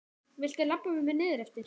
Viltu labba með mér niður eftir?